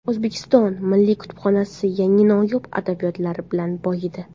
O‘zbekiston Milliy kutubxonasi yangi noyob adabiyotlar bilan boyidi.